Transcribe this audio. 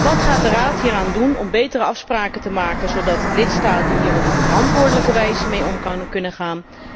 Wat gaat de Raad hieraan doen om betere afspraken te maken zodat lidstaten hier op een verantwoordelijke wijze mee om kunnen gaan?